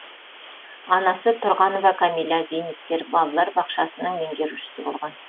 анасы тұрғанова кәмила зейнеткер балалар бақшасының меңгерушісі болған